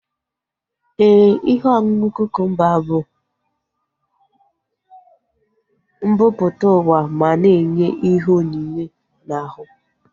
Éè, ihe ọṅụṅụ kukumba bụ mbumputauwa ma na enye ihe onyinye na ahu